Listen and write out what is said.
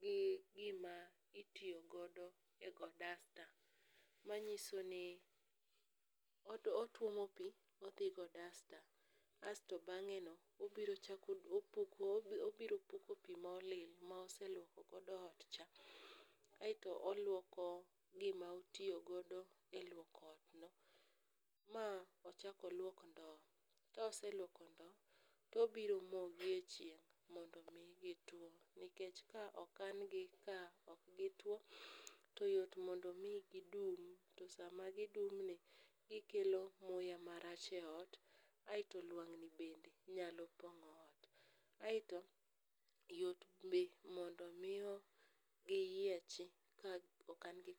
gi gima itiyo godo e go dasta, manyiso ni otuomo pi odhi go dasta, asto bang'eno, obiro puko pi molil moselwoko godo otcha, aeto olwoko gima otiyo godo e lwoko otno, ma ochak olwok ndo. koselwoko ndo, tobiro moyogi e chieng' mondo omi gituwo, nikech ka okan gi ka ok gituwo to yot mondo omi gidum, to sama gidumni, gikelo muya marach eot, aeto lwang'ni bende nyalo pong'o ot. Aeto, yot be mondo omi giyiechi ka okan gi.